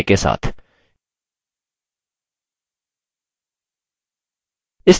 deleted sriranjani: विलोपन की तारीख और समय के साथ